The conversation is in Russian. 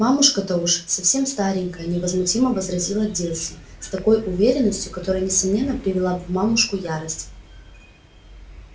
мамушка-то уж совсем старенькая невозмутимо возразила дилси с такой уверенностью которая несомненно привела бы мамушку в ярость